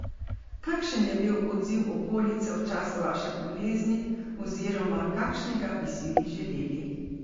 Kakšen je bil odziv okolice v času vaše bolezni oziroma kakšnega bi si vi želeli?